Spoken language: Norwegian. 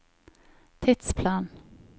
tidsplan